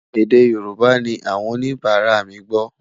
èdè yorùbà ní àwọn oníbara mí gbó